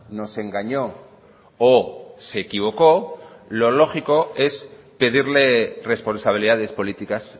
nos engañó o se equivocó lo lógico es pedirle responsabilidades políticas